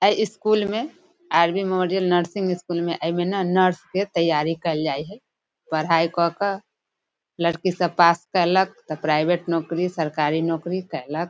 ए school में R B memorial school मे एमे ना नर्स के तैयारी केल जाय हेय पढ़ाय क केए इ सब पास केलक प्राइवेट नौकरी सरकारी नौकरी केलक।